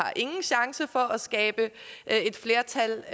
ingen chance er for at skabe flertal